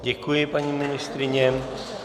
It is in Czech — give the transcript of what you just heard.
Děkuji, paní ministryně.